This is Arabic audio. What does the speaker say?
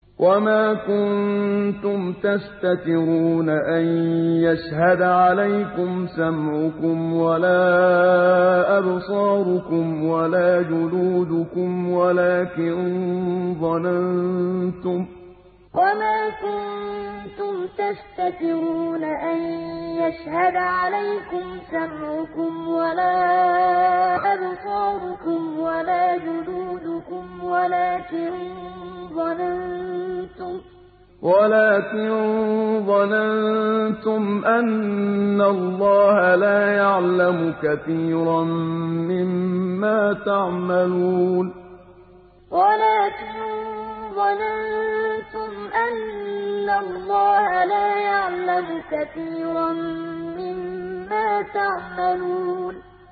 وَمَا كُنتُمْ تَسْتَتِرُونَ أَن يَشْهَدَ عَلَيْكُمْ سَمْعُكُمْ وَلَا أَبْصَارُكُمْ وَلَا جُلُودُكُمْ وَلَٰكِن ظَنَنتُمْ أَنَّ اللَّهَ لَا يَعْلَمُ كَثِيرًا مِّمَّا تَعْمَلُونَ وَمَا كُنتُمْ تَسْتَتِرُونَ أَن يَشْهَدَ عَلَيْكُمْ سَمْعُكُمْ وَلَا أَبْصَارُكُمْ وَلَا جُلُودُكُمْ وَلَٰكِن ظَنَنتُمْ أَنَّ اللَّهَ لَا يَعْلَمُ كَثِيرًا مِّمَّا تَعْمَلُونَ